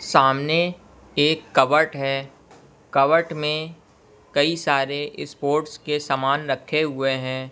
सामने एक कवर्ट है कवर्ट में कई सारे स्पोर्ट्स के सामान रखे हुए हैं।